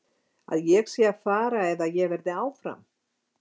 Að ég sé að fara eða að ég verði áfram?